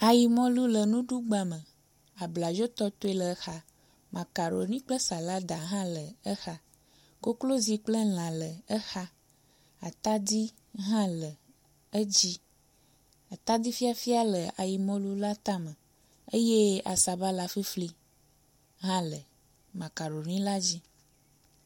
ayimɔlu le nuɖugba me abladzo tɔtoe le xa makaroni kple salada hã le exa koklozi kple lã le exa atadi hã le edzi atadi fafia hã le ayimɔlu la tame eye asabala fifli hã le makaroni la dzi